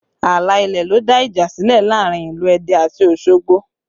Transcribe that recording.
Ààlà ilẹ̀ ló dá ìjà sílẹ̀ láàrin ìlú Ẹdẹ àti Osogbo